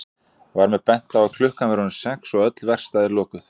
Var mér bent á að klukkan væri orðin sex og öll verkstæði lokuð.